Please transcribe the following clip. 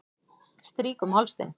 Strýk um háls þinn.